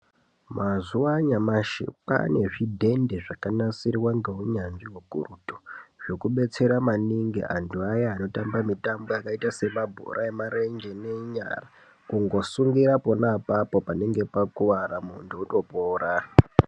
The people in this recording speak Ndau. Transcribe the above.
Mazuva anyamashi kwaanezvidhende zvakanasirwa ngeunyanzvi hukurutu. Zvekubetsera maningi antu aya anotamba mitambo yakaita semabhora emakumbo ngenyara. Kungosungira panenge pakuvara apapo muntu otopora.